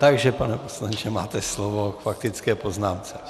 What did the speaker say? Takže pane poslanče, máte slovo k faktické poznámce.